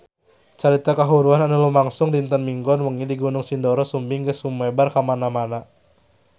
Carita kahuruan anu lumangsung dinten Minggon wengi di Gunung Sindoro Sumbing geus sumebar kamana-mana